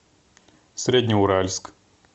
среднеуральск